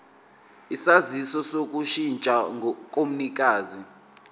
isaziso sokushintsha komnikazi